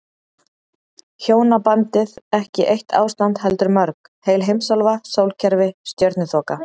Hjónabandið ekki eitt ástand heldur mörg, heil heimsálfa, sólkerfi, stjörnuþoka.